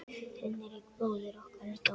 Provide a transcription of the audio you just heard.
Hinrik bróðir okkar er dáinn.